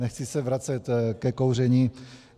Nechci se vracet ke kouření.